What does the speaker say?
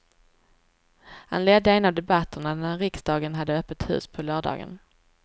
Han ledde en av debatterna när riksdagen hade öppet hus på lördagen.